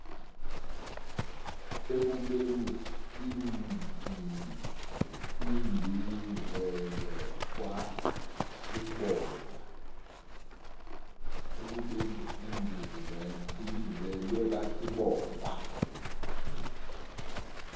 ekubeni ibizelwe kwasibonda